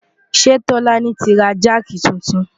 ṣé tọ́lání ti ra jáàkì titun?